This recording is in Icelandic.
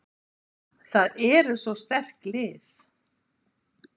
Það eru svo sterk lið.